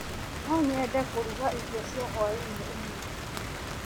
No nyende kũruga irio cia hwainĩ ũmũthĩ.